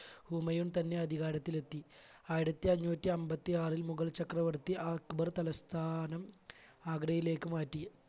ഹുമയൂൺ തന്നെ അധികാരത്തിൽ എത്തി ആയിരത്തി അഞ്ഞൂറ്റി അൻപത്തി ആറിൽ മുഗൾ ചക്രവർത്തി അക്ബർ തലസ്ഥാനം ആഗ്രയിലേക്ക് മാറ്റി.